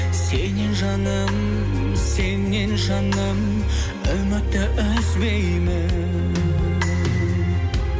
сеннен жаным сеннен жаным үмітті үзбеймін